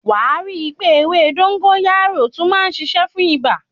Wàá rí pé ewé dógóyárò tún má ń ṣiṣẹ́ fún ibà.